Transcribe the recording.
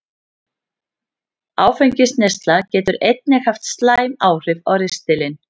Áfengisneysla getur einnig haft slæmt áhrif á ristilinn.